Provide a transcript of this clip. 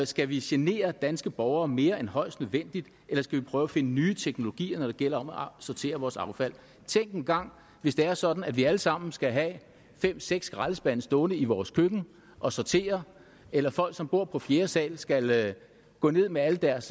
skal vi genere danske borgere mere end højst nødvendigt eller skal vi prøve at finde nye teknologier når det gælder om at sortere vores affald tænk engang hvis det er sådan at vi alle sammen skal have fem seks skraldespande stående i vores køkken og sortere eller at folk som bor på fjerde sal skal gå ned med al deres